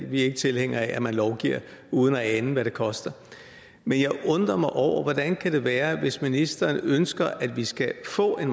vi er ikke tilhængere af at man lovgiver uden at ane hvad det koster men jeg undrer mig over hvordan det kan være hvis ministeren ønsker at vi skal få en